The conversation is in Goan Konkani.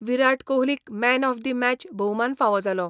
विराट कोहलीक मॅन ऑफ दी मॅच भोवमान फावो जालो.